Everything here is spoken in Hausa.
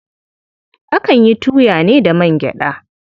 Akan yi tuya ne da man gyaɗa.